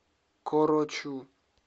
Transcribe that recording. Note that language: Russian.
корочу